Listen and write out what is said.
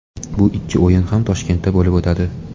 Bu ikki o‘yin ham Toshkentda bo‘lib o‘tadi.